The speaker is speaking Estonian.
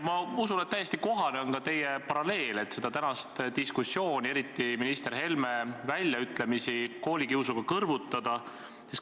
Ma usun, et täiesti kohane on ka teie paralleel, et seda tänast diskussiooni, eriti minister Helme väljaütlemisi, saab koolikiusuga kõrvutada.